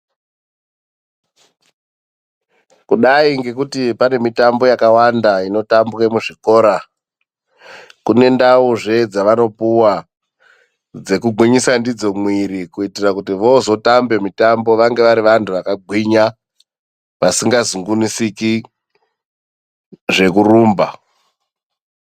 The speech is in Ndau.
Kudai ngekuti pane mitambo yakawanda inotambwa muzvikora kune ndauzvee dzavanopuwa dzekugwinyisa mwiri kuitira kuti vozotambe mitambo vanenge vakagwinya vasingazungunusike zvekurumba.